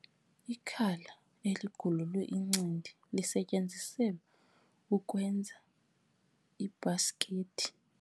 Ikhala eligululwe incindi lisetyenziselwe ukwenza iibhasikithi.